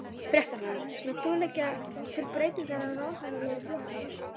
Fréttamaður: Munt þú leggja til breytingar á ráðherraliði flokksins?